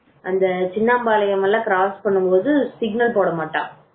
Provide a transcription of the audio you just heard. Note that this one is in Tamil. அந்த சின்ன பாளையம் சின்னப்பா கிராஸ் பண்ணும் போது சிக்னல் போட மாட்டான்